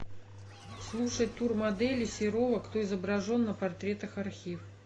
слушать тур модели серова кто изображен на портретах архив